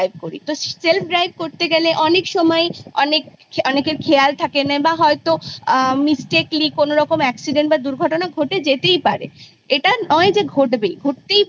self drive করতে গিয়ে অনেক সময় অনেকেরই খেয়াল থাকেনা বা হয়তো mistakely কোনরকম accident বা দূর্ঘটনা ঘটে যেতেই পারে এটা নয় যে ঘটবেই ঘটে যেতেই পারে।